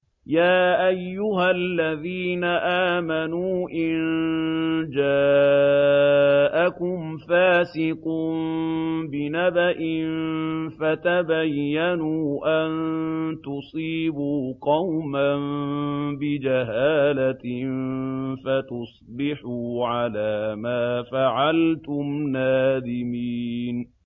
يَا أَيُّهَا الَّذِينَ آمَنُوا إِن جَاءَكُمْ فَاسِقٌ بِنَبَإٍ فَتَبَيَّنُوا أَن تُصِيبُوا قَوْمًا بِجَهَالَةٍ فَتُصْبِحُوا عَلَىٰ مَا فَعَلْتُمْ نَادِمِينَ